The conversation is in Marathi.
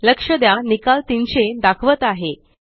लक्ष द्या निकाल 300 दाखवत आहे